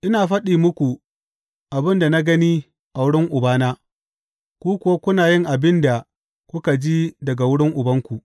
Ina faɗi muku abin da na gani a wurin Ubana, ku kuwa kuna yin abin da kuka ji daga wurin ubanku.